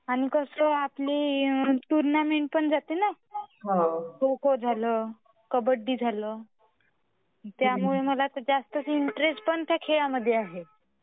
पण कसा आहे आपली टूर्नामेंट पण जाते ना खो खो झाला खब्बडी झाला. त्यामुळे कसा मला इंटरेस्ट पण त्या खेळ मध्ये आहे..